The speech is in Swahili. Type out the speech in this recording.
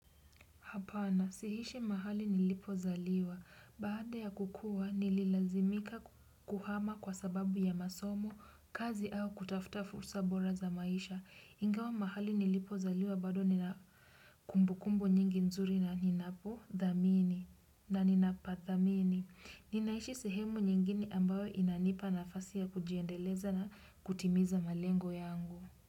Hapana, siishi mahali nilipozaliwa, baada ya kukua nililazimika kuhama kwa sababu ya masomo, kazi au kutafuta fursa bora za maisha, ingawa mahali nilipozaliwa bado nina kumbukumbu nyingi nzuri na ninapodhamini na ninapadhamini, ninaishi sehemu nyingine ambayo inanipa nafasi ya kujiendeleza na kutimiza malengo yangu.